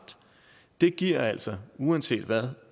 det giver altså uanset hvad